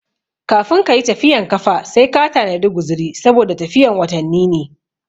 Kafin kayi tafiyan kafa sai ka tanadi guziri saboda tafiyan watanni ne